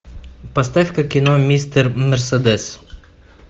поставь ка кино мистер мерседес